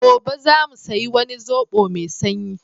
Gobe za mu sai wani sobo mai shanyi.